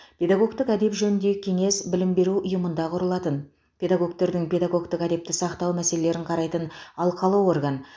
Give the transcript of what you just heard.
педагогтік әдеп жөніндегі кеңес білім беру ұйымында құрылатын педагогтердің педагогтік әдепті сақтау мәселелерін қарайтын алқалы орган